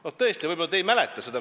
No tõesti, võib-olla te ei mäleta seda.